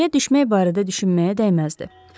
Yerə düşmək barədə düşünməyə dəyməzdi.